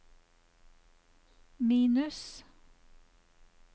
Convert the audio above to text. minus